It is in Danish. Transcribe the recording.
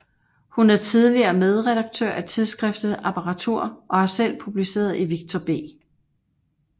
Hun er tidligere medredaktør af tidsskriftet Apparatur og har selv publiceret i Victor B